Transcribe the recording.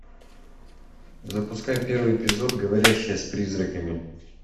запускай первый эпизод говорящая с призраками